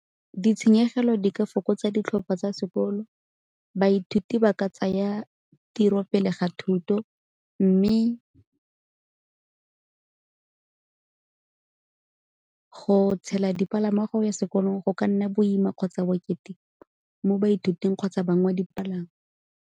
Ditshenyegelo di ka fokotsa ditlhopha tsa sekolo, baithuti ba ka tsaya tiro pele ga thuto, mme go tshela dipalangwa go ya sekolong go ka nna boima kgotsa bokete mo baithuting kgotsa bang ba dipalangwa.